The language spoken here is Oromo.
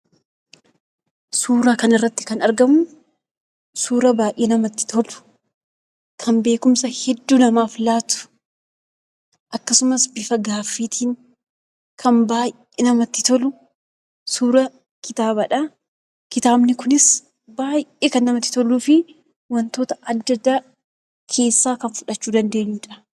Suura kanarratti kan argamu suuraa baay'ee namatti tolu, kan beekumsa hedduu namaaf laatu. Akkasumas bifa gaaffiitiin kan baay'ee namatti tolu, suura kitaabaadha. Kitaabni kunis baay'ee kan namatti toluu fi wantoota adda addaa keessaa kan fudhachuu dandeenyudha.